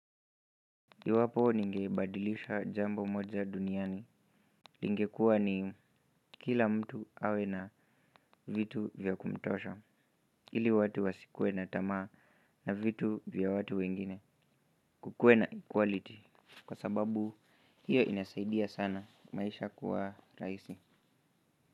Iwapo ningebadilisha jambo moja duniani, ingekuwa ni kila mtu awe na vitu vya kumtosha, ili watu wasikue na tamaa na vitu vya watu wengine kukue na equality, kwa sababu hiyo inasaidia sana maisha kuwa rahisi.